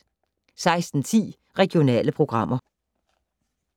16:10: Regionale programmer